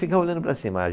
Ficava olhando para cima.